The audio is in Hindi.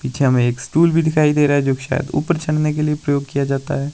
पीछे हमे एक स्टूल भी दिखाई दे रहा है जो शायद ऊपर चढ़ने के लिए प्रयोग किया जाता है।